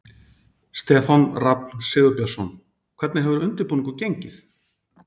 Stefán Rafn Sigurbjörnsson: Hvernig hefur undirbúningur gengið?